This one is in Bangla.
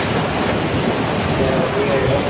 কেনো কি হয়েছে